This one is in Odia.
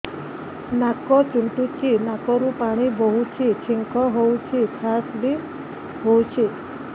ନାକ ଚୁଣ୍ଟୁଚି ନାକରୁ ପାଣି ବହୁଛି ଛିଙ୍କ ହଉଚି ଖାସ ବି ହଉଚି